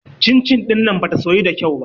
Cin-cin ɗin nan bata soyu da kyau ba.